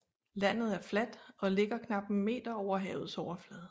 Landet er fladt og ligger knap en meter over havets overflade